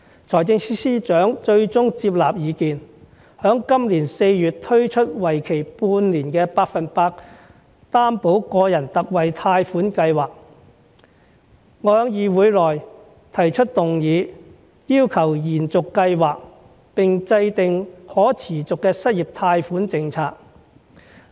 財政司司長最終接納意見，在今年4月推出為期半年的百分百擔保個人特惠貸款計劃，我在議會內提出議案，要求延續計劃，並制訂可持續的失業貸款政策。